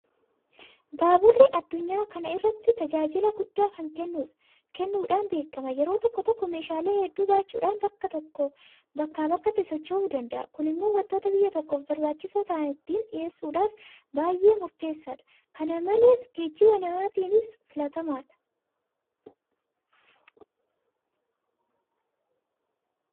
Baaburri addunyaa kana irratti tajaajila guddaa kennuudhaan beekama. Yeroo tokkotti meeshaalee hedduu baachuudhaan bakkaa bakkatti sochoosuu danda'a. Kun immoo waantota biyya tokkoof barbaachisoo ta'an ittiin dhiyeessuudhaaf bay'ee murteessaadha. Kana malees geejiba namaatiifis filatamaadha.